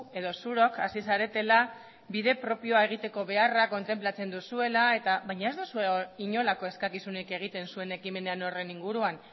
edo zurok hasi zaretela bide propioa egiteko beharra kontenplatzen duzuela baina ez duzue inolako eskakizunik egiten zuen ekimenean horren inguruan